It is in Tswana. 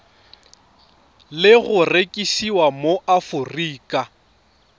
le go rekisiwa mo aforika